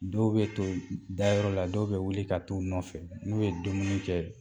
Dɔw bɛ to dayɔrɔ la dɔw bɛ wuli ka taa u nɔfɛ n'u ye dumuni kɛ